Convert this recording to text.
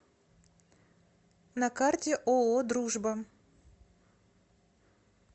на карте ооо дружба